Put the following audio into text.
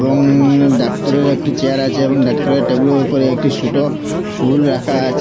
এবং ডাক্তারের একটি চেয়ার আচে এবং ডাক্তারের টেবিলের উপরে একটি সোটো ফুল রাখা আচে।